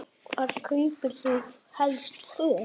Hvar kaupir þú helst föt?